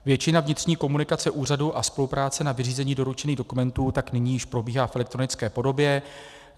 Většina vnitřní komunikace úřadu a spolupráce na vyřízení doručených dokumentů tak nyní již probíhá v elektronické podobě.